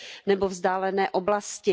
nebo vzdálené oblasti.